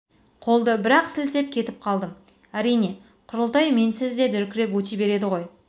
қолды бір-ақ сілтеп кетіп қалдым әрине құрылтай менсіз де дүркіреп өте береді ғой